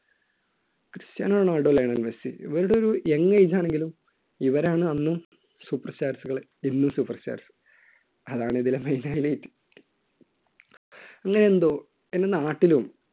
Cristiano Ronaldo, Lionel Messi ഇവരുടെ ഒരു young age ആണെങ്കിലും ഇവരാണ് അന്നും super stars കൾ ഇന്നും super stars കൾ അതാണ് ഇതിലെ main highlight അങ്ങനെ എന്തോ എൻറെ നാട്ടിലും